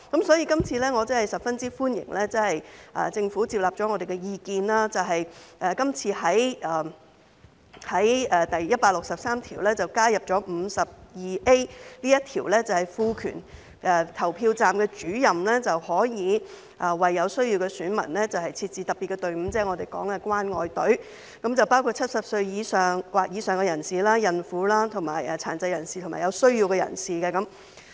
所以，我十分歡迎政府接納了我們的意見，在第163條加入第 52A 條，賦權投票站主任可以為有需要的選民設置特別隊伍，即我們說的"關愛隊"，對象包括70歲或以上的人士、孕婦、殘疾人士及有需要的人士。